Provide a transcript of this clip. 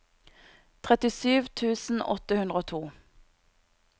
trettisju tusen åtte hundre og to